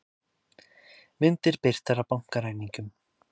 Myndir birtar af bankaræningjum